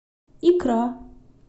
икра